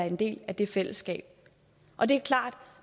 en del af det fællesskab og det er klart at